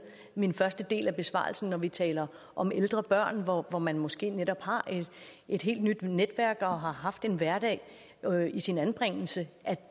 min første del af besvarelsen når vi taler om ældre børn hvor man måske netop har et helt nyt netværk og har haft en hverdag i sin anbringelse